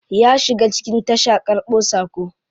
Ya shiga cikin tasha karbo sako.